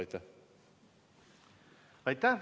Aitäh!